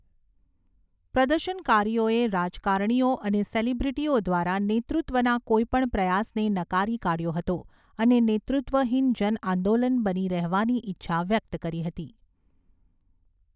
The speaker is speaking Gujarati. પ્રદર્શનકારીઓએ રાજકારણીઓ અને સેલિબ્રિટીઓ દ્વારા નેતૃત્વના કોઈપણ પ્રયાસને નકારી કાઢ્યો હતો અને નેતૃત્વહીન જન આંદોલન બની રહેવાની ઈચ્છા વ્યક્ત કરી હતી.